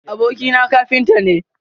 Abokina kafinta ne.